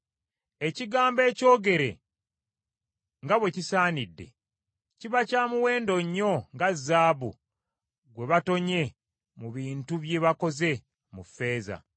Ekigambo ekyogere nga bwe kisaanidde, kiba kya muwendo nnyo nga zaabu gwe batonye mu bintu bye bakoze mu ffeeza.